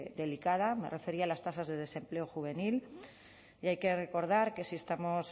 delicada me refería a las tasas de desempleo juvenil y hay que recordar que si estamos